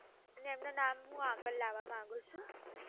ને એમનું નામ હું આગળ લાવવા માંગું છુ.